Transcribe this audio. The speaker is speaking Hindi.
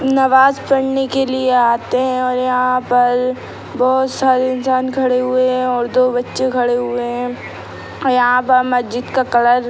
नवाज़ पढ़ने के लिए आते हैं और यहाँ पर बहोत सारे इंसान खड़े हुए हैं और दो बच्चे खड़े हुए हैं यहाँ पर मज्जिद का कलर --